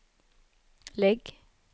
lägg